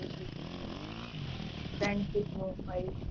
ત્રણ ફૂટ નો હોઈ